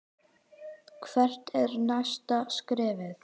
Hvert er næsta skrefið?